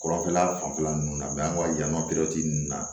Kɔrɔfɛla fanfɛla nunnu na an ka jama nunnu na